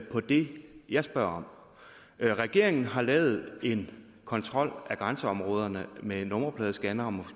på det jeg spørger om regeringen har lavet en kontrol af grænseområderne med nummerpladescannere